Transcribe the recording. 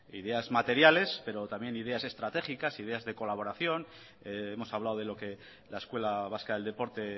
ideas materiales pero también ideas estratégicas ideas de colaboración hemos hablado de lo que la escuela vasca del deporte